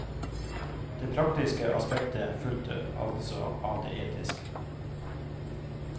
Det praktiske aspektet fulgte altså av det etiske.